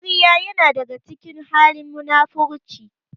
Ƙarya ya na daga cikin halin munafurci